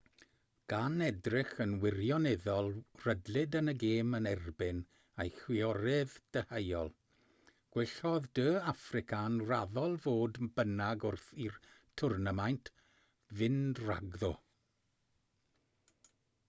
gan edrych yn wirioneddol rydlyd yn y gêm yn erbyn eu chwiorydd deheuol gwellodd de affrica'n raddol fodd bynnag wrth i'r twrnamaint fynd rhagddo